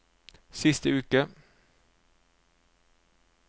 siste uke